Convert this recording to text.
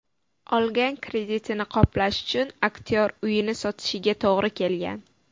Olgan kreditini qoplash uchun aktyor uyini sotishiga to‘g‘ri kelgan.